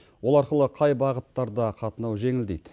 ол арқылы қай бағыттарда қатынау жеңілдейді